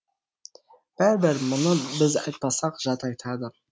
бәрібір мұны біз айтпасақ жат айтады